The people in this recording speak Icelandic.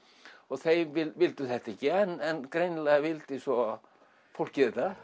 þeir vildu þetta ekki en greinilega vildi svo fólkið þetta